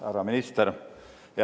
Härra minister!